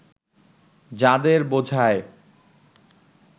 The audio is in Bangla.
যাঁদের বোঝায়